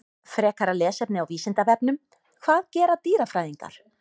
Frekara lesefni á Vísindavefnum: Hvað gera dýrafræðingar?